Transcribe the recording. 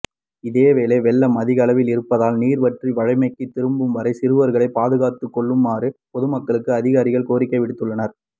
இதேவேளை வெள்ளம் அதிகளவில் இருப்பதால் நீர் வற்றி வழமைக்கு திரும்பும் வரை சிறுவர்களை பாதுகாத்துகொள்ளுமாறு பொதுமக்களுக்கு அதிகாரிகள் கோரிக்கை விடுத்துள்ளனர்